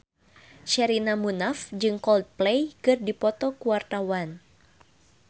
Sherina Munaf jeung Coldplay keur dipoto ku wartawan